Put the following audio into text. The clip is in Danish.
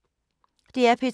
DR P2